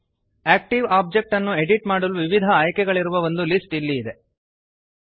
active object ಅನ್ನು edit ಮಾಡಲು ವಿವಿಧ ಆಯ್ಕೆಗಳಿರುವ ಒಂದು ಲಿಸ್ಟ್ ಇಲ್ಲಿ ಇದೆ